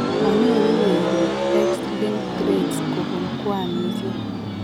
Manyoru weriik X linked traits kobun kwanisiek